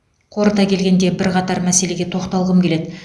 қорыта келгенде бірқатар мәселеге тоқталғым келеді